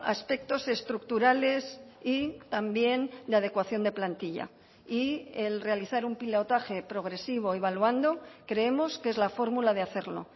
aspectos estructurales y también de adecuación de plantilla y el realizar un pilotaje progresivo evaluando creemos que es la fórmula de hacerlo